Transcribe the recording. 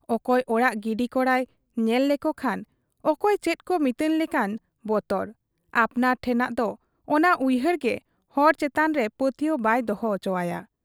ᱚᱠᱚᱭ ᱚᱲᱟᱜ ᱜᱤᱰᱤ ᱠᱚᱲᱟᱭ ᱧᱮᱞ ᱞᱮᱠᱚ ᱠᱷᱟᱱ ᱚᱠᱚᱭ ᱪᱮᱫᱠᱚ ᱢᱤᱛᱟᱹᱧ ᱞᱮᱠᱟᱱ ᱵᱚᱛᱚᱨ ᱾ ᱟᱯᱱᱟᱨ ᱴᱷᱮᱫᱟᱜ ᱚᱱᱟ ᱩᱭᱦᱟᱹᱨ ᱜᱮ ᱦᱚᱲ ᱪᱮᱛᱟᱱᱨᱮ ᱯᱟᱹᱛᱭᱟᱹᱣ ᱵᱟᱭ ᱫᱚᱲᱦᱚ ᱚᱪᱚᱣᱟᱭᱟ ᱾